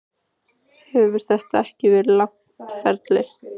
Hefur þetta ekki verið langt ferli?